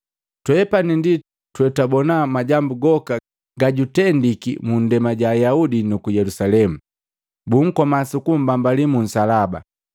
Twepani ndi twetwabona majambu goka ga jutendiki munndema ja Ayaudi nuku Yelusalemu. Bunkoma sukumbambali mu nsalaba,